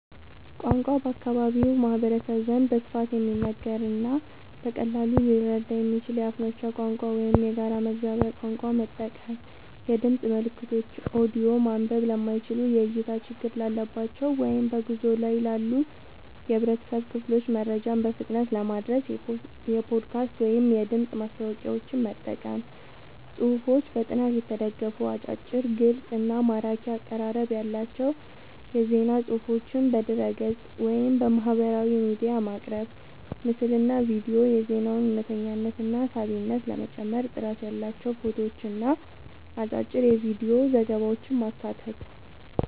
ቋንቋ፦ በአካባቢው ማህበረሰብ ዘንድ በስፋት የሚነገርንና በቀላሉ ሊረዳ የሚችልን የአፍ መፍቻ ቋንቋ ወይም የጋራ መግባቢያ ቋንቋ መጠቀም። የድምፅ መልእክቶች (ኦዲዮ)፦ ማንበብ ለማይችሉ፣ የእይታ ችግር ላለባቸው ወይም በጉዞ ላይ ላሉ የህብረተሰብ ክፍሎች መረጃን በፍጥነት ለማድረስ የፖድካስት ወይም የድምፅ ማስታወቂያዎችን መጠቀም። ጽሁፎች፦ በጥናት የተደገፉ፣ አጫጭር፣ ግልጽ እና ማራኪ አቀራረብ ያላቸው የዜና ፅሁፎችን በድረ-ገጽ፣ ወይም በማህበራዊ ሚዲያ ማቅረብ። ምስልና ቪዲዮ፦ የዜናውን እውነተኝነትና ሳቢነት ለመጨመር ጥራት ያላቸው ፎቶዎችንና አጫጭር የቪዲዮ ዘገባዎችን ማካተት።